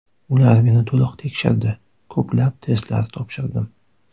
Ular meni to‘liq tekshirdi, ko‘plab testlar topshirdim.